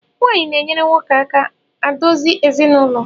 Nwaanyị na-enyere nwoke aka adozi ezinụlọ